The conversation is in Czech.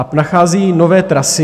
A nachází nové trasy.